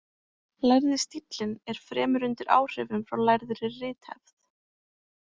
Lærði stíllinn er fremur undir áhrifum frá lærðri rithefð.